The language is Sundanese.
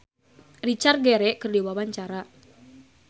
Cut Tari olohok ningali Richard Gere keur diwawancara